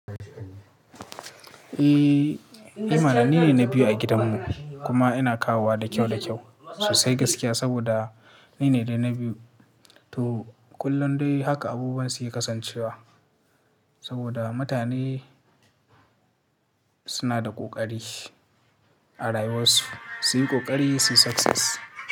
Eh, eh mana nine na biyu a gidan mu kuma ina kawowa da kyau da kyau sosai gaskiya saboda ni ne dai na biyu. To kullum dai haka abubuwa suke kasancewa saboda mutane suna da ƙoƙari a rayuwar su, su yi ƙoƙari su yi success.